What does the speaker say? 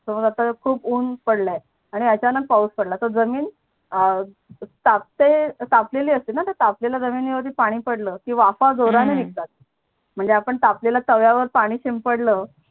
हो आता खूप उन पडला आहे आणि अचानक पाऊस पडला तो जमीन तापते तापलेली असते णा ते तापलेल्या जमिनी वरती पानी पडल तर की वाफा जोरणी निगतात म्हणजे आपण तापलेल्या ताव्या वर पानी शिंपडल